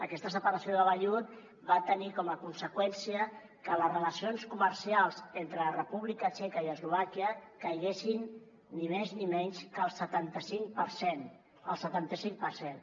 aquesta separació de vellut va tenir com a conseqüència que les relacions comercials entre la república txeca i eslovàquia caiguessin ni més ni menys que el setanta cinc per cent el setanta cinc per cent